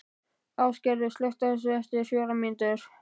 Ásgerður, slökktu á þessu eftir fjórar mínútur.